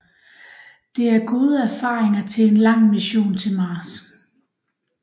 Det er gode erfaringer til en lang mission til Mars